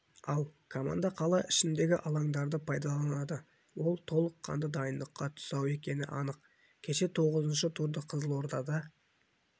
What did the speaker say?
ал команда қала ішіндегі алаңдарды пайдаланды ол толыққанды дайындыққа тұсау екені анық кеше тоғызыншы турды қызылордада